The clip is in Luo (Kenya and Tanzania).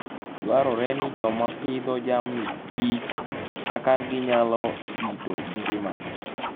Dwarore ni joma pidho jamni kich kaka ginyalo rito ngimagi.